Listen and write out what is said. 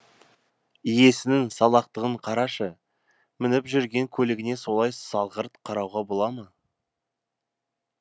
иесінің салақтығын қарашы мініп жүрген көлігіне солай салғырт қарауға бола ма